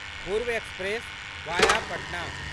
पूर्व एक्सप्रेस वाया पटना